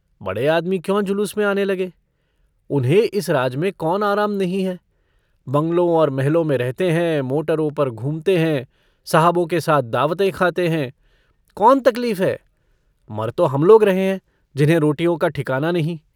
बड़े आदमी क्यों जुलूस में आने लगे? उन्हें इस राज में कौन आराम नहीं हैं। बँगलों और महलों में रहते हैं मोटरों पर घूमते हैं साहबों के साथ दावतें खाते हैं कौन तकलीफ़ है। मर तो हम लोग रहे हैं जिन्हें रोटियों का ठिकाना नहीं।